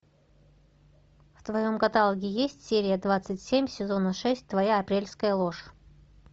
в твоем каталоге есть серия двадцать семь сезона шесть твоя апрельская ложь